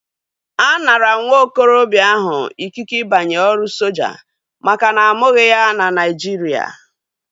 A mara nwa okorobịa ahu ikike ịbanye ọrụ soja makana amụghi na ya na Naijiria